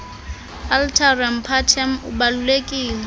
alteram partem ubalulekile